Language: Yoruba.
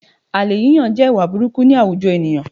Àlè yíyàn jẹ́ ìwà burukú ní àwujọ ènìyàn